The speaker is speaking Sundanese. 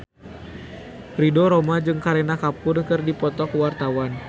Ridho Roma jeung Kareena Kapoor keur dipoto ku wartawan